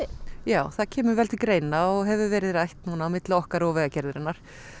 já það kemur vel til greina og hefur verið rætt núna milli okkar og Vegagerðarinnar